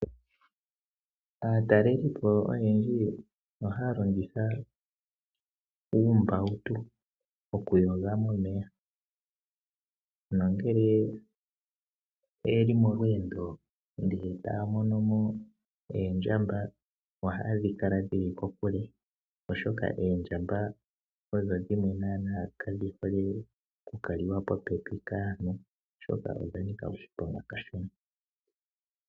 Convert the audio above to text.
Aatalelipo oyendji ohaya longitha uumbawutu okuyoga momeya nongele oyeli molweendo taya mono mo oondjamba ohaye dhi kala kokule oshoka oondjamba odho dhimwe nana kadhihole okukalika popepi kaantu oshoka odha nika oshiponga kashona.